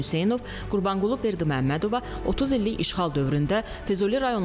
Füzulidə işğal və zəfər muzeylərini əhatə edəcək Füzuli memorial kompleksi yaradılacaq.